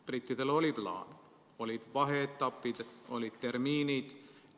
Brittidel oli plaan, olid vaheetapid, olid tärminid.